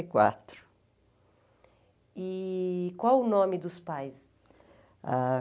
E quatro. E qual o nome dos pais? Ãh